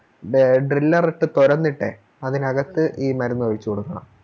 ബ Driller ഇട്ട് തോരന്നിട്ടെ അതിനകത്ത് ഈ മരുന്ന് ഒഴിച്ചു കൊടുക്കണം